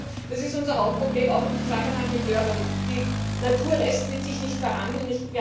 Aber ich glaube, das ist auch unser Hauptproblem im Zusammenhang mit Durban Die Natur lässt mit sich nicht verhandeln.